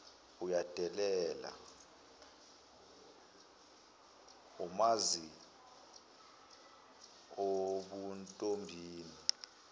uyadela omazi ebuntombini